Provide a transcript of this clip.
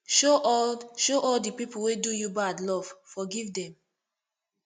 show all show all di pipu wey do you bad love forgive dem